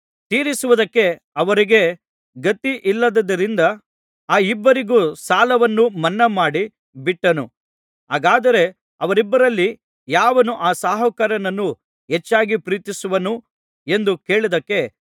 ತೀರಿಸುವುದಕ್ಕೆ ಅವರಿಗೆ ಗತಿಯಿಲ್ಲದ್ದರಿಂದ ಆ ಇಬ್ಬರಿಗೂ ಸಾಲವನ್ನು ಮನ್ನಾಮಾಡಿ ಬಿಟ್ಟನು ಹಾಗಾದರೆ ಅವರಿಬ್ಬರಲ್ಲಿ ಯಾವನು ಆ ಸಾಹುಕಾರನನ್ನು ಹೆಚ್ಚಾಗಿ ಪ್ರೀತಿಸುವನು ಎಂದು ಕೇಳಿದ್ದಕ್ಕೆ